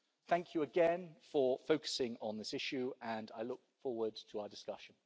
Thank you again for focusing on this issue and I look forward to our discussion.